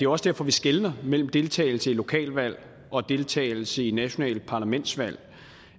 også derfor vi skelner mellem deltagelse i lokalvalg og deltagelse i nationale parlamentsvalg